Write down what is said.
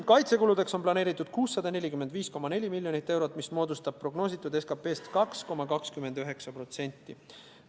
Kaitsekuludeks on planeeritud 645,4 miljonit eurot, mis moodustab prognoositud SKP-st 2,29%.